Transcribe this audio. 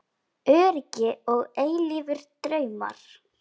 Öryggi og eilífir draumar